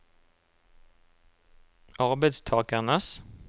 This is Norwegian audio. arbeidstakernes